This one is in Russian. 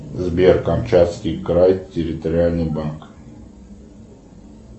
сбер камчатский край территориальный банк